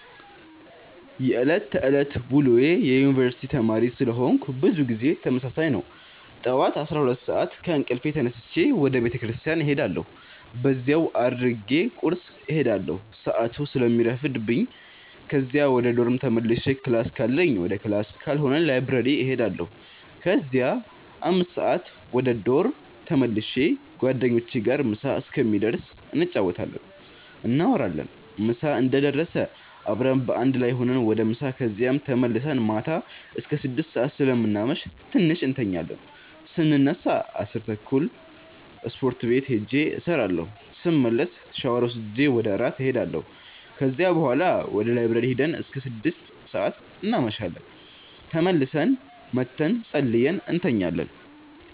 የዕለት ተዕለት ውሎዬ የዩነኒቨርስቲ ተማሪ ስለሆነኩ ብዙ ጊዜ ተመሳሳይ ነው። ጠዋት 12:00 ሰአት ከእንቅልፌ ተነስቼ ወደ ቤተክርስቲያን እሄዳለሁ በዚያው አድርጌ ቁርስ እሄዳለሁ ሰአቱ ስለሚረፍድብኝ ከዚያ ወደ ዶርም ተመልሼ ክላስ ካለኝ ወደ ክላስ ካልሆነ ላይብረሪ እሄዳለሁ ከዚያ 5:00 ወደ ዶርም ተመልሼ ጓደኞቼ ጋር ምሳ እስከሚደርስ እንጫወታለን፣ እናወራለን ምሳ እንደደረሰ አብረን በአንድ ላይ ሁነን ወደ ምሳ ከዚያም ተመልሰን ማታ አስከ 6:00 ሰአት ስለምናመሽ ትንሽ እንተኛለን ስነሳ 10:30 ስፖርት ቤት ሂጄ እሰራለሁ ስመለስ ሻወር ወስጄ ወደ እራት እሄዳለሁ ከዚያ ቡሀላ ወደ ላይብረሪ ሂደን እስከ 6:00 እናመሻለን ተመልሰን መተን ፀልየን እንተኛለን።